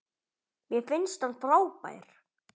Mér finnst hann frábær.